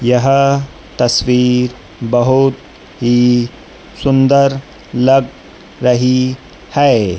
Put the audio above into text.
यह तस्वीर बहोत ही सुंदर लग रही है।